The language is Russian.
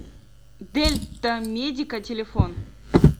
дельтамедика телефон